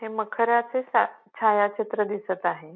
हे मखराचे सा छायाचित्र दिसत आहे.